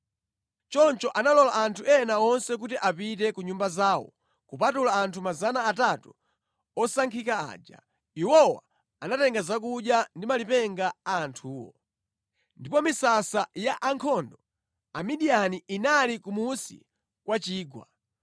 Choncho analola anthu ena onse kuti apite ku nyumba zawo kupatula anthu 300 osankhika aja. Iwowa anatenga zakudya ndi malipenga a anthuwo. Ndipo misasa ya ankhondo Amidiyani inali kumunsi kwa chigwa.